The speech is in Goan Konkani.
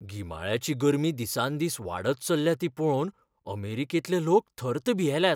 गिमाळ्याची गर्मी दिसान दीस वाडत चल्ल्या ती पळोवन अमेरिकेंतले लोक थर्त भियेल्यात.